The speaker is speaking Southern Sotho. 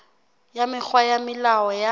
ya mekgwa le melao ya